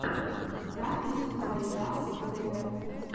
запись ай дабз тэ вэ